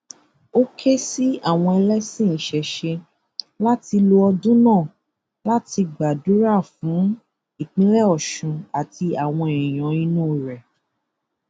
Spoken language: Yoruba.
ó ké sí àwọn ẹlẹsìn ìṣẹṣẹ láti lo ọdún náà láti gbàdúrà fún ìpínlẹ ọṣun àti àwọn èèyàn inú rẹ